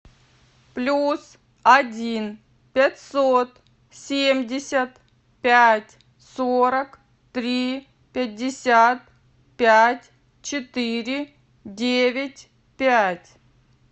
плюс один пятьсот семьдесят пять сорок три пятьдесят пять четыре девять пять